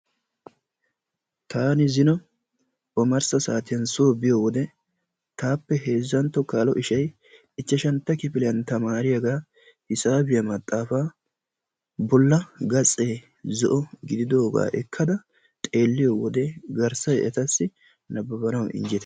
Taani zino omarssa saatiyan soo biyode tappe heezzantto kaaloy ishay ichchashantto kifiliyan tamaariyaga hisaabiyaa maxaafaa bolla gatse zo'o gididoga ekada xeeliyowode garssay etasi naabbanawu injjetees.